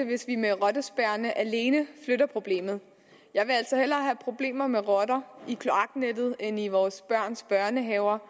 hvis vi med rottespærrerne alene flytter problemet jeg vil altså hellere have problemer med rotter i kloaknettet end i vores børns børnehaver